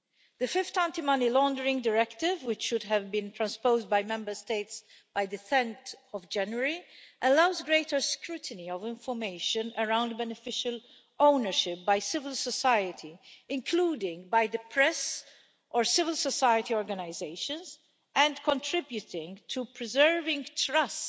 The fifth Anti Money Laundering Directive, which should have been transposed by Member States by 10 January, allows greater scrutiny of information around beneficial ownership by civil society, including by the press or civil society organisations and contributing to preserving trust